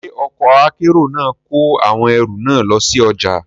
Ṣé ọkọ̀ akẹ́rù náà kọ awọn ẹrù náà lọ sí ọjà?